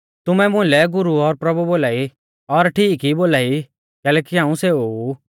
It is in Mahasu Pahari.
तुमै मुलै गुरु और प्रभु बोलाई और ठीक ई बोलाई कैलैकि हाऊं सेऊ ऊ